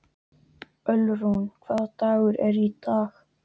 Ölrún, hvaða dagur er í dag?